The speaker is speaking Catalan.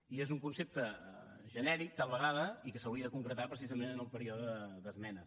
i és un concepte genèric tal vegada i que s’hauria de concretar precisament en el període d’esmenes